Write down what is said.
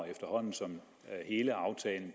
efterhånden som hele aftalen